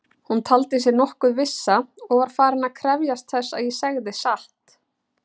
Hún taldi sig nokkuð vissa og var farin að krefjast þess að ég segði satt.